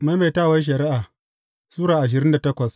Maimaitawar Shari’a Sura ashirin da takwas